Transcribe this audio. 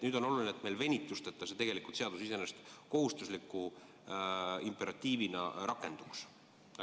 Nüüd on oluline, et meil venitusteta see seadus iseenesest kohustusliku imperatiivina rakenduks.